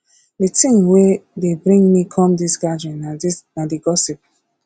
the thing wey dey bring me come dis gathering na the gossip